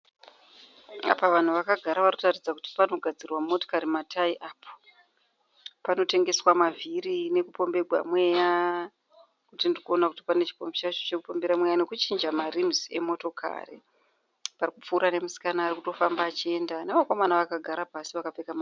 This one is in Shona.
Apa vanhu vakagara vari kutaridza kuti panogadzirwa motokari matayi apo. Panotengeswa mavhiri nekupomberwa mweya nekuti ndiri kuona kuti pane chipombi chacho chekupombera mweya nekuchinja marimuzi emotokari. Pari kupfuura nemusikana ari kutofamba achienda nevakomana vakagara pasi vakapfeka